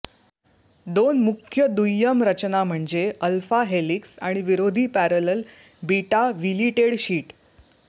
दोन मुख्य दुय्यम रचना म्हणजे अल्फा हेलिक्स आणि विरोधी पॅरलल बीटा व्हिलिटेड शीट